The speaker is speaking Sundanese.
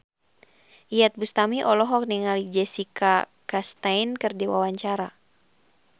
Iyeth Bustami olohok ningali Jessica Chastain keur diwawancara